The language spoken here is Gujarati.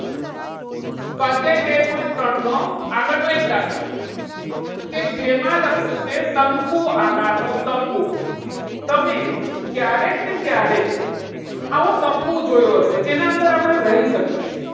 સ્વાધ્યાય તેર point ત્રણ નો આગળ નો એક દાખલો. કે જેમાં લખ્યું છે. શંકુ આકારનો તંબુ તમે ક્યારેક ને ક્યારેક આવો તંબુ જોયો હશે. જેના અંદર આપણે રહી શકીએ.